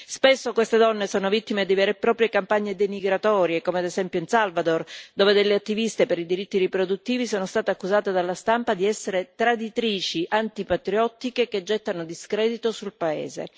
Spesso queste donne sono vittime di vere e proprie campagne denigratorie, come ad esempio in Salvador dove delle attiviste per i diritti riproduttivi sono state accusate dalla stampa di essere traditrici antipatriottiche che gettano discredito sul paese.